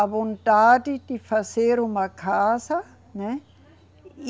A vontade de fazer uma casa, né?